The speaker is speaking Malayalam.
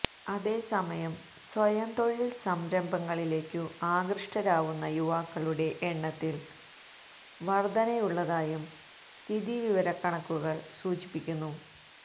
അതേസമയം സ്വയം തൊഴിൽ സംരഭങ്ങളിലേക്കു ആകൃഷ്ടരാകുന്ന യുവാക്കളുടെ എണ്ണത്തിൽ വർദ്ധനയുള്ളതായും സ്ഥിതിവിവരക്കണക്കുകള് സൂചിപ്പിക്കുന്നു